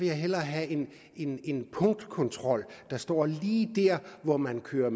jeg hellere have en punktkontrol der står lige der hvor man kører